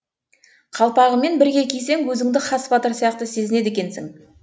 қалпағымен бірге кисең өзіңді хас батыр сияқты сезінеді екенсің